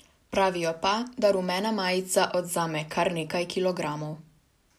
Pravijo pa, da rumena majica odvzame kar nekaj kilogramov.